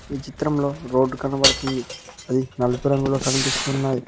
ఈ చిత్రం లో రోడ్ కనబడుతుంది అది నలుపు రంగులో కనిపిస్తున్నది.